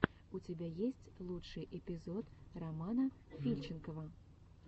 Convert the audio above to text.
у тебя есть лучший эпизод романа фильченкова